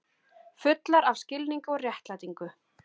Fullar af skilningi og réttlætingu.